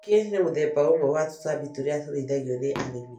Njũkĩ nĩ mũthemba ũmwe wa tũtambi turĩa tũrĩithagio ni arĩmi.